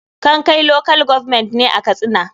kankai local government ne a katsina.